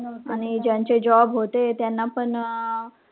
आणि ज्यांचे job होते त्यांनापण,